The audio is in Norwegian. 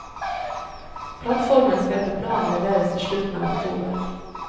Plattformen skal etter planen leveres i slutten av oktober.